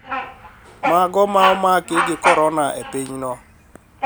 Mago ma omaki gi korona e pinyno